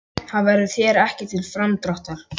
Það verður þér ekki til framdráttar.